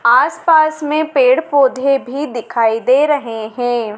आसपास में पेड़ पौधे भी दिखाई दे रहे हैं।